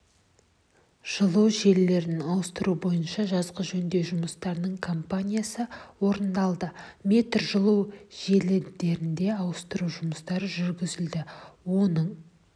жылу желілерін ауыстыру бойынша жазғы жөндеу жұмыстарының кампаниясы орындалды метр жылу желідеріне ауыстыру жұмыстары жүргізілді оның